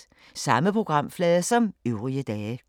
Samme programflade som øvrige dage